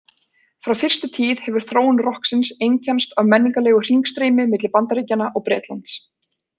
Frá fyrstu tíð hefur þróun rokksins einkennst af menningarlegu hringstreymi milli Bandaríkjanna og Bretlands.